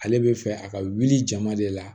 Ale bɛ fɛ a ka wuli jama de la